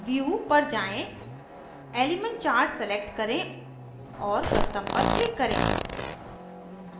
view पर जाएँ element chart select करें और custom पर click करें